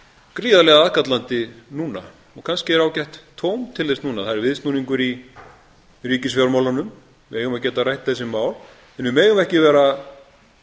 gríðarlega aðkallandi núna og kannski er ágætt tóm til þess núna það er viðsnúningur í ríkisfjármálunum við eigum að geta rætt þessi mál en við megum ekki vera